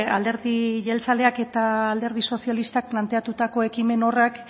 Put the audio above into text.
alderdi jeltzaleak eta alderdi sozialistak planteatutako ekimen horrek